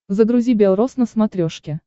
загрузи белрос на смотрешке